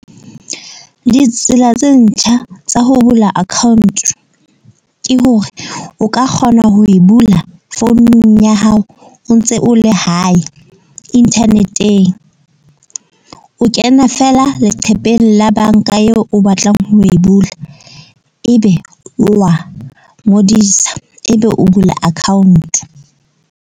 Ditsela tse ntjha tsa ho bula account ke hore o ka kgona ho e bula founung ya hao o ntse o le hae internet-eng. O kena feela leqhepeng la banka eo o batlang ho e bula. Ebe wa ngodisa ebe o bula account.